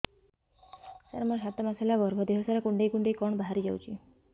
ସାର ମୋର ସାତ ମାସ ହେଲା ଗର୍ଭ ଦେହ ସାରା କୁଂଡେଇ କୁଂଡେଇ କଣ ବାହାରି ଯାଉଛି